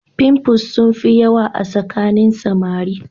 pimples sun fi yawa a tsakanin samari